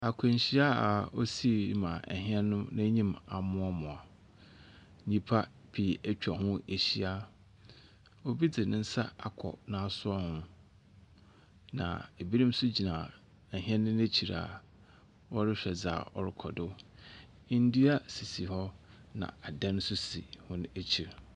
Akwanhyia a osii ma ɛhɛn no nenim amuamua. Nipa pii etwa ho ehyia. Obi di ne nsa ako n' asowa ho na ebinom nso gyina ɛhɛn no ekyi a wɔrehwɛ dia a ɔrekɔdo. Ndua sisi hɔ na adan sisi hɔn ekyi.